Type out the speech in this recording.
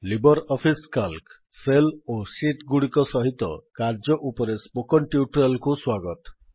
Libre office Calc cell ଓ sheet ଗୁଡିକ ସହିତ କାର୍ଯ୍ୟ ଉପରେ ସ୍ପୋକେନ୍ ଟ୍ୟୁଟୋରିଆଲ୍ କୁ ସ୍ୱାଗତ